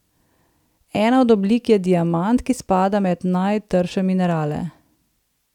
Ena od oblik je diamant, ki spada med najtrše minerale.